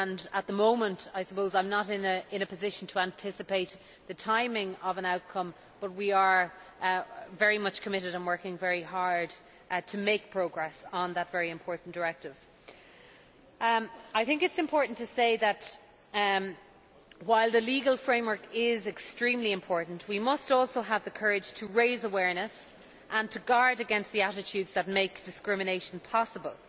At the moment I am not in a position to anticipate the timing of an outcome, but we are very much committed and working very hard to make progress on that very important directive. It is important to say that, while the legal framework is extremely important, we must also have the courage to raise awareness and to guard against the attitudes that make discrimination possible.